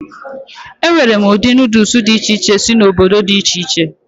E nwere ụdị Nuudus dị iche iche si n'obodo dị iche iche.